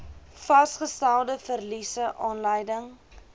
vasgestelde verliese aanleiding